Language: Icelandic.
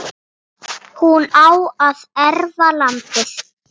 hún á að erfa landið.